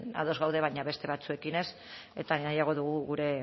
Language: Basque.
ados gaude baina beste batzuekin ez eta nahiago dugu gure